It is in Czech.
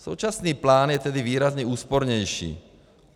Současný plán je tedy výrazně úspornější.